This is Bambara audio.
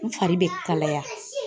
N fari be kalaya.